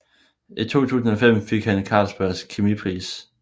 I 2005 fik han Carlsbergs Kemipris